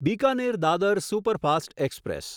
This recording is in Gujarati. Bikaner Dadar superfast express